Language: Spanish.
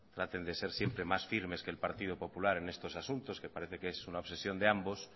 traten de ser siempre más firmes que el partido popular en estos asuntos que parece que es una obsesión de ambos